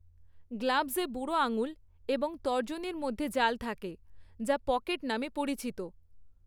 গ্লাভসে বুড়ো আঙুল এবং তর্জনীর মধ্যে জাল থাকে, যা 'পকেট' নামে পরিচিত।